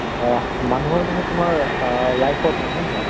আহ মানুহৰ মানে তোমাৰ আহ life ত মানে হয় নে নহয়?